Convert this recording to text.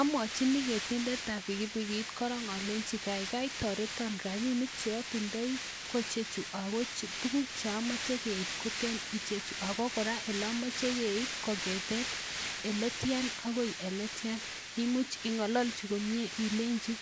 Amwochin ketindetab pikipikit korong alenji kaigai toreton rabinik che otindoi ko icheju ago tuguk che omoche keib koten icheju ago kora ele omoche keib kong'eten ele tyan agoi ele tyan. Imuchi ing'ololji komye ilenji